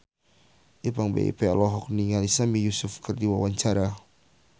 Ipank BIP olohok ningali Sami Yusuf keur diwawancara